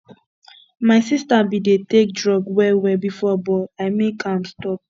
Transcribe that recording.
my sister bin dey take drug well well before but i make am stop